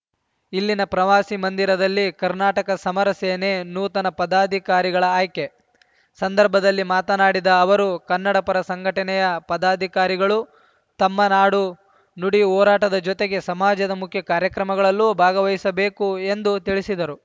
ಇಲ್ಲಿನ ಪ್ರವಾಸಿ ಮಂದಿರದಲ್ಲಿ ಕರ್ನಾಟಕ ಸಮರ ಸೇನೆ ನೂತನ ಪದಾಧಿಕಾರಿಗಳ ಆಯ್ಕೆ ಸಂದರ್ಭದಲ್ಲಿ ಮಾತನಾಡಿದ ಅವರು ಕನ್ನಡ ಪರ ಸಂಘಟನೆಯ ಪದಾಧಿಕಾರಿಗಳು ತಮ್ಮ ನಾಡು ನುಡಿ ಹೋರಾಟದ ಜೊತೆಗೆ ಸಮಾಜದ ಮುಖ್ಯಾ ಕಾರ್ಯಕ್ರಮಗಳಲ್ಲೂ ಭಾಗವಹಿಸಬೇಕು ಎಂದು ತಿಳಿಸಿದರು